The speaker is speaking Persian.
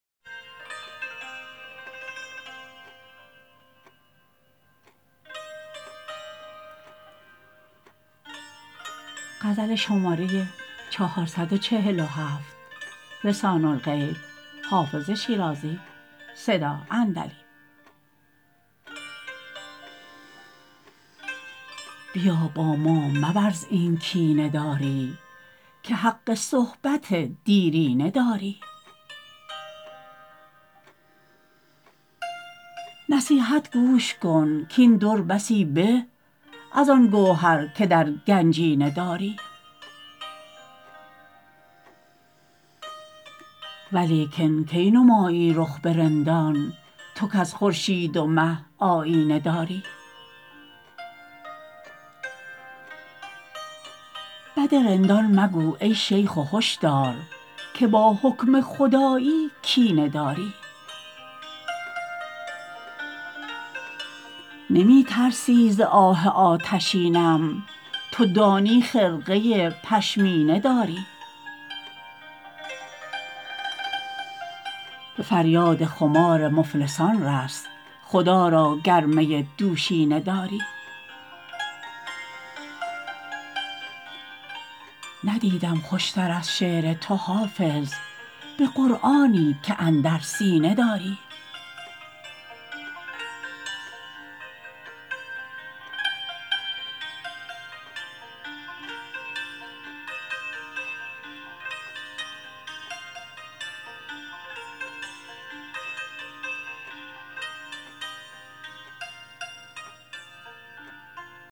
بیا با ما مورز این کینه داری که حق صحبت دیرینه داری نصیحت گوش کن کاین در بسی به از آن گوهر که در گنجینه داری ولیکن کی نمایی رخ به رندان تو کز خورشید و مه آیینه داری بد رندان مگو ای شیخ و هش دار که با حکم خدایی کینه داری نمی ترسی ز آه آتشینم تو دانی خرقه پشمینه داری به فریاد خمار مفلسان رس خدا را گر می دوشینه داری ندیدم خوش تر از شعر تو حافظ به قرآنی که اندر سینه داری